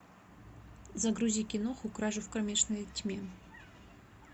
загрузи киноху кражу в кромешной тьме